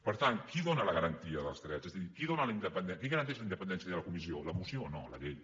per tant qui dóna la garantia dels drets és a dir qui garanteix la independència de la comissió la moció no la llei